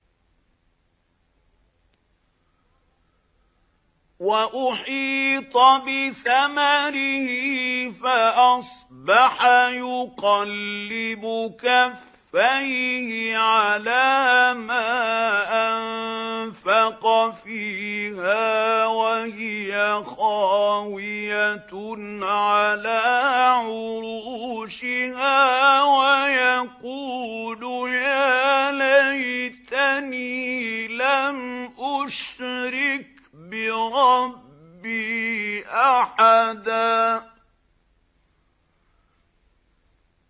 وَأُحِيطَ بِثَمَرِهِ فَأَصْبَحَ يُقَلِّبُ كَفَّيْهِ عَلَىٰ مَا أَنفَقَ فِيهَا وَهِيَ خَاوِيَةٌ عَلَىٰ عُرُوشِهَا وَيَقُولُ يَا لَيْتَنِي لَمْ أُشْرِكْ بِرَبِّي أَحَدًا